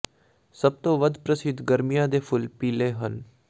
ਸਭ ਤੋਂ ਵੱਧ ਪ੍ਰਸਿੱਧ ਗਰਮੀਆਂ ਦੇ ਫੁੱਲ ਪੀਲੇ ਹਨ